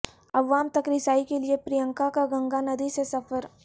عوام تک رسائی کیلئے پرینکا کا گنگا ندی سے سفر